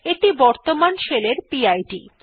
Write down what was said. এইটি বর্তমান শেলের P I D